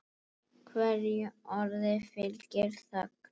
Hverju orði fylgir þögn.